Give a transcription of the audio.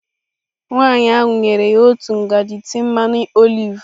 Nwaanyị ahụ nyere ya otu ngaji tii mmanụ oliv.